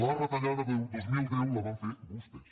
la retallada del dos mil deu la van fer vostès